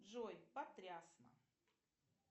джой потрясно